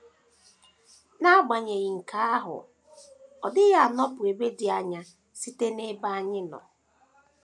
N’agbanyeghị nke ahụ, ọ dịghị anọpụ ebe dị anya site n’ebe anyị nọ.